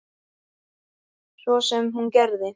Það sem hún gerði